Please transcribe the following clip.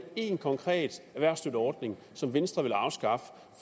en konkret erhvervsstøtteordning som venstre vil afskaffe